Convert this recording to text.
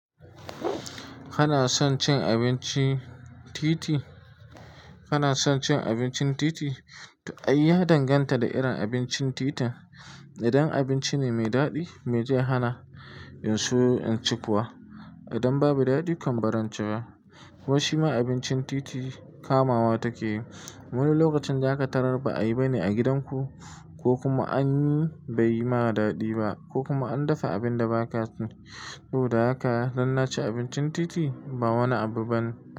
Kana son cin abincin titi? Kana son cin abincin titi? To ai ya danganta da irin abincin tita. Idan abinci ne mai daɗi, me zai hana in so in ci kuwa. Idan babu daɗi kam baran ci ba. Ko shima abincin titi kamawa take yi. Wani lokacin zaka tarar ba ayi bane a gidanku ko kuma an yi bai yi ma daɗi ba ko kuma an dafa abin da ba ka so. Saboda haka dan naci abincin titi ba wani abu bane.